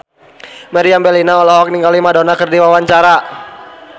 Meriam Bellina olohok ningali Madonna keur diwawancara